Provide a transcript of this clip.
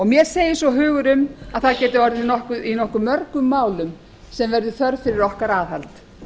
mér segir svo hugur um að það geti orðið í nokkuð mörgum málum sem verður þörf fyrir okkar aðhald